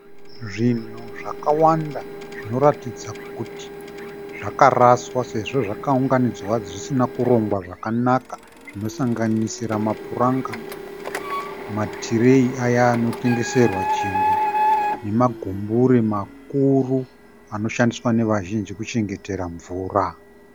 Zvinhu zvakawanda zvinoratidza kuti zvakaraswa sezvo zvakaunganidzwa zvisina kurongwa zvakanaka zvinosanganisira mapuranga, matireyi aya anotengeserwa chingwa nemagumbure makuru anoshandiswa nevazhinji kuchengetera mvura.